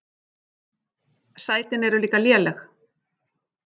Sætin eru líka léleg.